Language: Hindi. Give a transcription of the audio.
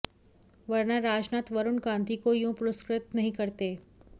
वरना राजनाथ वरुण गांधी को यों पुरस्कृत नहीं करते